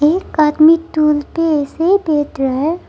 एक आदमी टूल पे ऐसे ही बैठ रहा है।